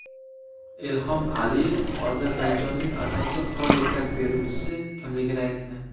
Ilhom Aliyev Ozarbayjonning asosiy qurol yetkazib beruvchisi kimligini aytdi.